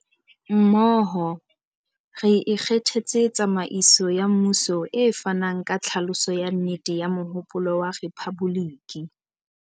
Mmoho, re ikgethetse tsamaiso ya mmuso e fanang ka tlhaloso ya nnete ya mohopolo wa rephaboliki.